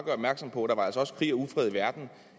på